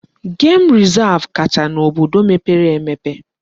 Gem resav kacha n'obodo mepere emepe.